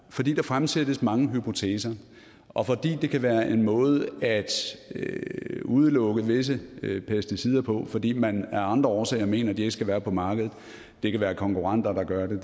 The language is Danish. fordi der fremsættes mange hypoteser og fordi det kan være en måde at udelukke visse pesticider på altså fordi man af andre årsager mener at de ikke skal være på markedet det kan være konkurrenter der gør det